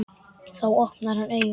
Þá opnar hann augun.